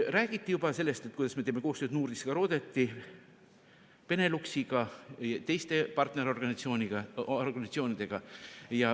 Räägiti juba sellest, et kuidas me teeme koostööd Nordiska ministerrådet'i, Beneluxiga ja teiste partnerorganisatsioonidega.